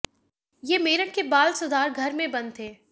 ये मेरठ की बाल सुधार घर में बंद थे